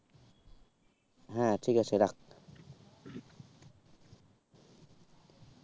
হ্যাঁ ঠিক আছে রাখ।